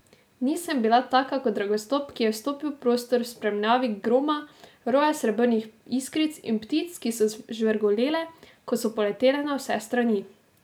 Nisem bila taka kot Ragostok, ki je vstopil v prostor v spremljavi groma, roja srebrnih iskric in ptic, ki so žvrgolele, ko so poletele na vse strani.